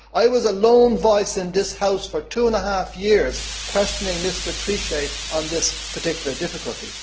I was a lone voice in this Chamber for two and half years questioning Mr Trichet on this particular difficulty.